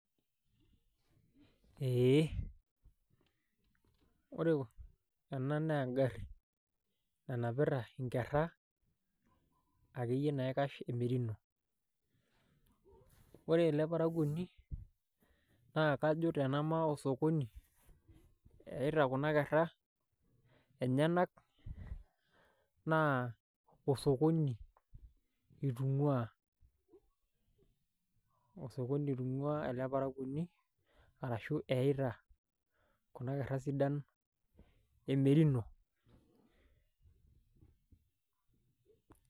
Eeeh ore ena naa engarri nanapita inkerra akeyie naaikash emerino. Ore ele parakuoni naa kajo tenemake osokoni eita kuna kerra enyenak naa osokoni eitung'uaa, osokoni eitung'uaa ele parakuoni arashuu eita kuna kerra sidan emerino.